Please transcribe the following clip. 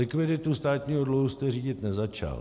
Likviditu státního dluhu jste řídit nezačal.